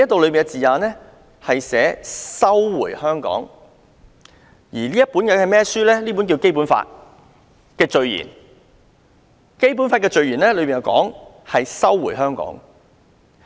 其實，這本書名為《基本法》，上述是《基本法》的序言，《基本法》的序言用了"收回香港"一詞。